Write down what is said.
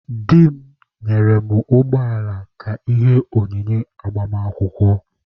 Di m nyere mụ ụgbọala ka ihe onyinye agbamakwụkwọ.